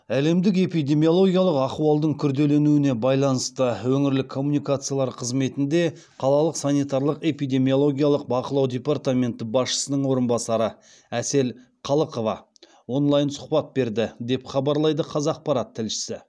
әлемдік эпидемиологиялық ахуалдың күрделенуіне байланысты өңірлік коммуникациялар қызметінде қалалық санитарлық экпидемиологиялық бақылау департаменті басшысының орынбасары әсел қалықова онлайн сұхбат берді деп хабарлайды қазақпарат тілшісі